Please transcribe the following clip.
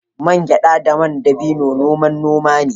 Man gyada da man dabino noman noma ne